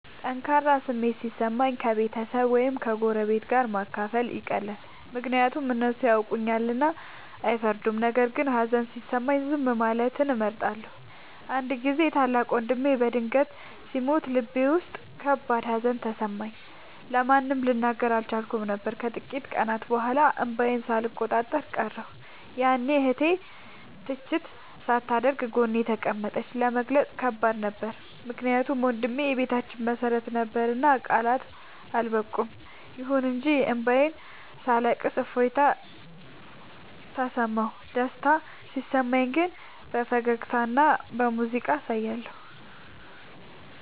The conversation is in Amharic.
ጠንካራ ስሜት ሲሰማኝ ከቤተሰብ ወይም ከጎረቤት ጋር ማካፈል ይቀላል፤ ምክንያቱም እነሱ ያውቁኛልና አይፈርዱም። ነገር ግን ሀዘን ሲሰማኝ ዝም ማለትን እመርጣለሁ። አንድ ጊዜ ታላቅ ወንድሜ በድንገት ሲሞት ልቤ ውስጥ ከባድ ሀዘን ተሰማኝ፤ ለማንም ልናገር አልቻልኩም ነበር። ከጥቂት ቀናት በኋላ እንባዬን ሳልቆጣጠር ቀረሁ፤ ያኔ እህቴ ትችት ሳታደርግ ጎኔ ተቀመጠች። ለመግለጽ ከባድ ነበር ምክንያቱም ወንድሜ የቤታችን መሰረት ነበርና ቃላት አልበቁም። ይሁን እንጂ እንባዬን ሳለቅስ እፎይታ ተሰማሁ። ደስታ ሲሰማኝ ግን በፈገግታና በሙዚቃ አሳያለሁ።